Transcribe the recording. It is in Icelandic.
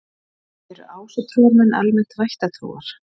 Eru ásatrúarmenn almennt vættatrúar?